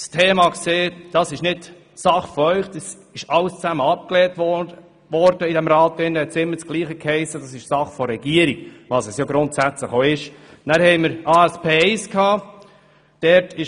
Daraufhin hiess es jeweils, dies sei nicht unsere Sache, sondern Sache der Regierung, was ja grundsätzlich auch stimmt.